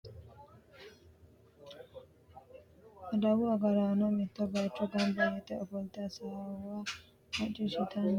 Adawu agaraano mitto bayicho gamba yite afolte hasaawa maciishitanni afantanno tenne adawu agaraano duuchate ledo afolte noomanniti gido sasu manni baxe umoho maa wodhe no?